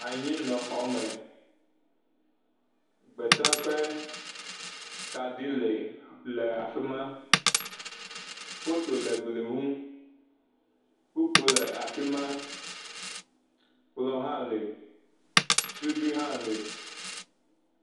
Anyinɔxɔme gbetaƒe kaɖi le af..le afi ma, foto le gli ŋu, kpokpo le afi ma, kplɔ hã le suɖui hã le.